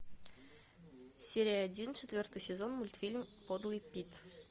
серия один четвертый сезон мультфильм подлый пит